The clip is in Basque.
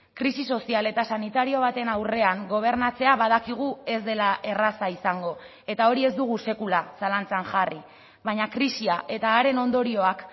krisi sozial eta sanitario baten aurrean gobernatzea badakigu ez dela erraza izango eta hori ez dugu sekula zalantzan jarri baina krisia eta haren ondorioak